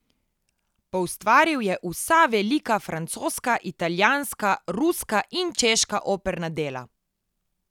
Poustvaril je vsa velika francoska, italijanska, ruska in češka operna dela.